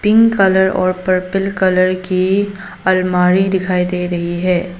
Pink colour और purple colour की आलमारी दिखाई दे रही है।